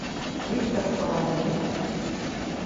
виктор алавин